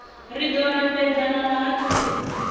ri ḓo ambedzana na vhahaṱuli